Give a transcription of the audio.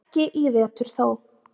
Ekki í vetur þó.